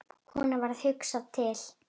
Honum varð hugsað til